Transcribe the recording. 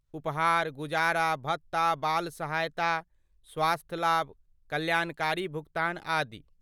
उपहार, गुजारा भत्ता, बाल सहायता, स्वास्थ्य लाभ, कल्याणकारी भुगतान आदि।